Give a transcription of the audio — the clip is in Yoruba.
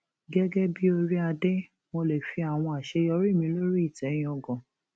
gẹgẹ bíi oríadé mo lè fi àwọn àṣeyọrí mi lórí ìtẹ yángá